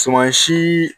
Suman si